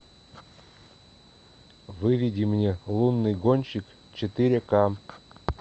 выведи мне лунный гонщик четыре ка